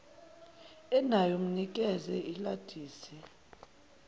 enayo mnikeze ilasidi